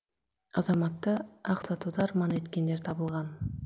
азаматты ақсатуды арман еткендер табылған